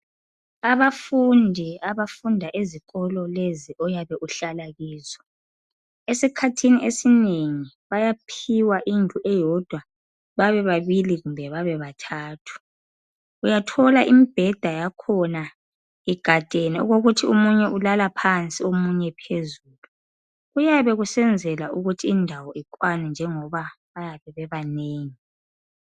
Abafundi abafunda ezikolo lezi oyabe uhlala kizo esikhathini esinengi bayaphiwa indlu eyodwa babe babili kumbe babe bathathu. Uyathola imbheda yakhona igadene okokuthi omunye ulala phansi omunye phezulu kuyabe kusenzelwa ukuthi indawo ikwane njengoba bayabe bebanengi.